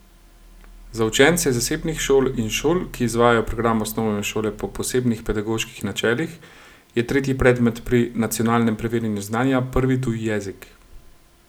Za učence zasebnih šol in šol, ki izvajajo program osnovne šole po posebnih pedagoških načelih, je tretji predmet pri nacionalnem preverjanju znanja prvi tuji jezik.